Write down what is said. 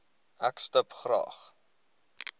ek stip graag